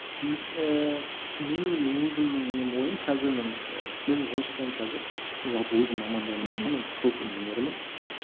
ііі менің өзімнің нем ойым қазір мен і мен жұмыс жасаймын қазір жалпы өзім мамандығым бойынша мен құрылыс инженерімін